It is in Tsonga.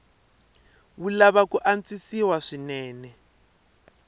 wu lava ku antswisiwa swinene